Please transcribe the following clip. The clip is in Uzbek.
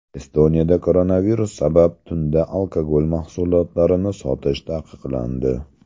Estoniyada koronavirus sabab tunda alkogol mahsulotlarini sotish taqiqlandi.